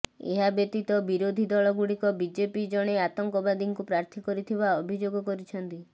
ଏହା ବ୍ୟତୀତ ବିରୋଧୀ ଦଳ ଗୁଡ଼ିକ ବିଜେପି ଜଣେ ଆତଙ୍କବାଦୀଙ୍କୁ ପ୍ରାର୍ଥୀ କରିଥିବା ଅଭିଯୋଗ କରିଛନ୍ତି